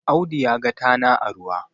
Audi ya ga tana a ruwa